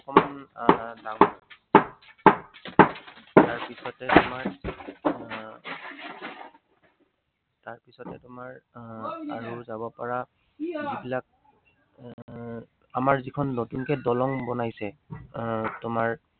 তাৰপিছতে তোমাৰ আহ আৰু যাব পাৰা যিবিলাক এৰ আমাৰ যিখন নতুনকে দলং বনাইছে, আহ তোমাৰ